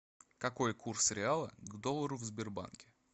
какой курс реала к доллару в сбербанке